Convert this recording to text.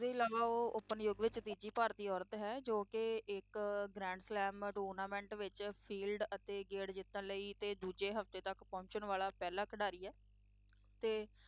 ਇਸਦੇ ਇਲਾਵਾ, ਉਹ open ਯੁੱਗ ਵਿੱਚ ਤੀਜੀ ਭਾਰਤੀ ਔਰਤ ਹੈ ਜੋ ਕਿ ਇੱਕ grand slam tournament ਵਿੱਚ field ਅਤੇ ਗੇੜ ਜਿੱਤਣ ਲਈ ਅਤੇ ਦੂਜਾ ਹਫ਼ਤੇ ਤੱਕ ਪਹੁੰਚਣ ਵਾਲਾ ਪਹਿਲਾ ਖਿਡਾਰੀ ਹੈ ਤੇ